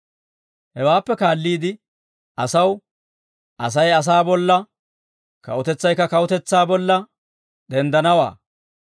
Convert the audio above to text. Hewaappe kaalliide asaw, «Asay asaa bolla, kawutetsaykka kawutetsaa bolla, denddanawaa;